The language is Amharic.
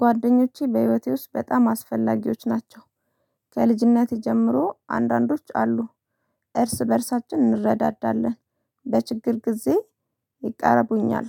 ጓደኞቼ በህይወቴ ውስጥ በጣም አስፈላጊዎች ናቸው። ከልጅነቴ ጀምሮ አንዳንዶች አሉ። እርስ በእርሳችን እንረዳዳለን በችግር ጊዜ ይቀረቡኛል።